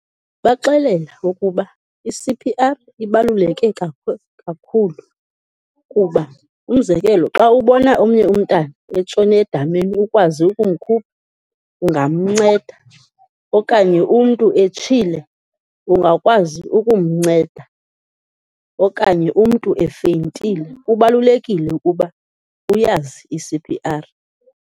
Baxelela ukuba i-C_P_R ibaluleke kakhulu kuba, umzekelo xa ubona omnye umntana etshone edameni ukwazi ukumkhupha, ungamnceda okanye umntu etshile, ungakwazi ukumnceda okanye umntu efeyintile, kubalulekile ukuba uyazi i-C_P_R.